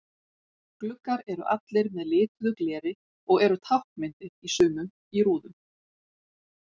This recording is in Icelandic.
Gluggar eru allir með lituðu gleri og eru táknmyndir í sumum í rúðum.